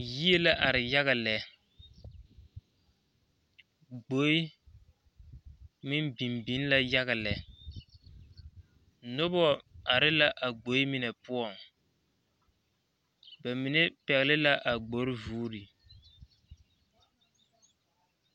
Yie laare yaga lɛ, gboe meŋ biŋ la yaga. lɛ noba are la a gboe mine poɔŋ ba mine pɛgeli la a gbori vuuri.